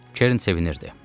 Kern sevinirdi.